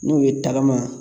N'o ye tagama